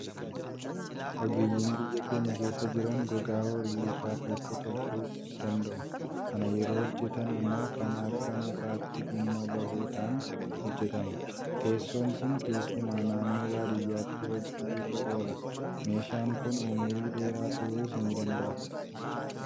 Ogeeyyiin biyya keenya keessa jiran gogaa horii irraa teessoo tolchuu danda'u. Kana yeroo hojjetan immoo kan akka mukaatti dhimma bahuudhaan hojjetama. Teessoon kun keessumaa naannoo baadiyyaatti hojii irra oola. Meeshaan kun umurii dheeraa turuus ni danda'a.